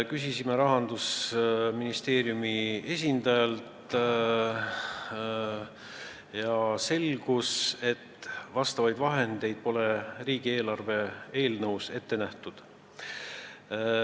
Küsisime Rahandusministeeriumi esindajalt ja selgus, et riigieelarve eelnõus ei ole vastavaid vahendeid ette nähtud.